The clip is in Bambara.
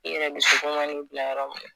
I yɛrɛ dusukun man'i bila yɔrɔ min